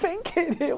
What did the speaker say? Sem querer.